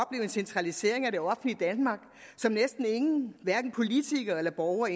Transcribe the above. en centralisering af det offentlige danmark som næsten ingen hverken politikere eller borgere